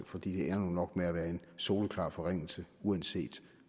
for det ender nok med at være en soleklar forringelse uanset